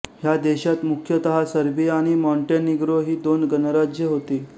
ह्या देशात मुख्यतः सर्बिया व मॉंटेनिग्रो ही दोन गणराज्ये होती